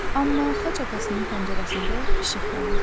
Amma Xaç atasının pəncərəsində işıq yanırdı.